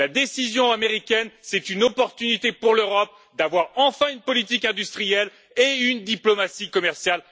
La décision américaine, c'est une opportunité pour l'Europe d'avoir enfin une politique industrielle et une diplomatie commerciale communes.